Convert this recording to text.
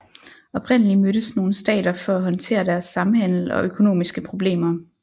Oprindelig mødtes nogle stater for at håndtere deres samhandel og økonomiske problemer